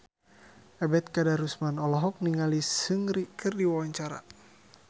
Ebet Kadarusman olohok ningali Seungri keur diwawancara